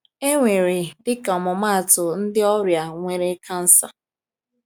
E nwere, dịka ọmụmaatụ, ndị ọrịa nwere kansa.